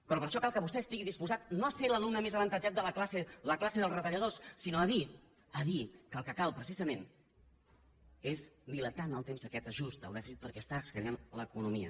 però per a això cal que vostè estigui disposat no a ser l’alumne més avantatjat de la classe la classe dels retalladors sinó a dir a dir que el que cal precisament és dilatar en el temps aquest ajust del dèficit perquè estan escanyant l’economia